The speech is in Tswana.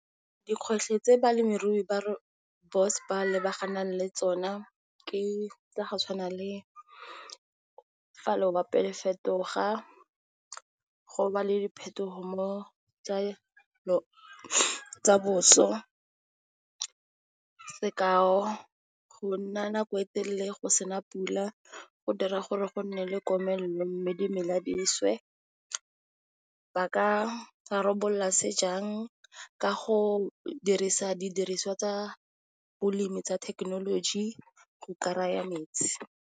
Dikgwetlho tse balemirui ba rooibos ba lebagane le tsona, ke tsa go tshwana le le fetoga go ba le diphetogo mo tsa boso, sekao, go nna nako e telele go sena pula go dira gore go nne le komelelo, mme dimela leswe. Ba ka rabolola se jang?, ka go dirisa didiriswa tsa bolemi tsa thekenoloji go kry-a metsi.